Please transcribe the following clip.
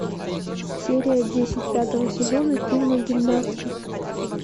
серия десять пятого сезона фильма гимнастки